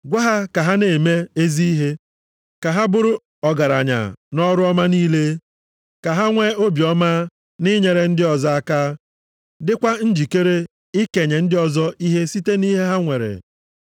Gwa ha ka ha na-eme ezi ihe, ka ha bụrụ ọgaranya nʼọrụ ọma niile, ka ha nwee obiọma na inyere ndị ọzọ aka, dịkwa njikere ikenye ndị ọzọ ihe site nʼihe ha nwere.